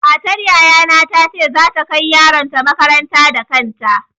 Matar yaya na za ta kai yaron ta makaranta da kanta.